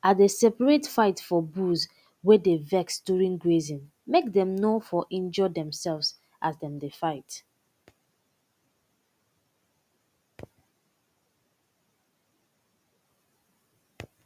i de separate fight for bulls wey dey vex during grazing make dem nor for injure demselves as dem dey fight